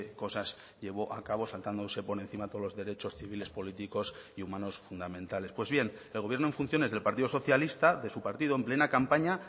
cosas llevó a cabo saltándose por encima todos los derechos civiles políticos y humanos fundamentales pues bien el gobierno en funciones del partido socialista de su partido en plena campaña